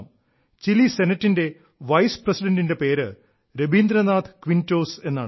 Chile സെനറ്റിന്റെ vice പ്രസിഡണ്ടിന്റെ പേര് രബീന്ദ്രനാഥ് ക്വിന്റോസ് എന്നാണ്